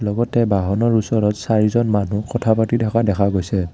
লগতে বাহনৰ ওচৰত চাৰিজন মানুহ কথা পাতি থকা দেখা গৈছে।